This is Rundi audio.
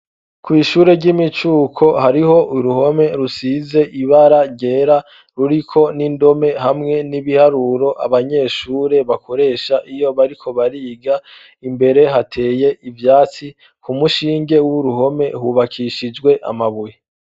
Kw'ishure ry'imicuko hariho uruhome rusize ibara ryera ruriko n'indome hamwe n'ibiharuro abanyeshure bakoresha iyo bariko bariga. Imbere hateye ivyatsi . Ku mushinge w'uruhome hubakishijwe amabuye.